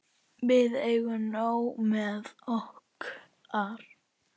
Við eigum nóg með okkar.